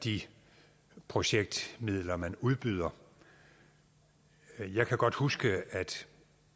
de projektmidler man udbyder jeg kan godt huske at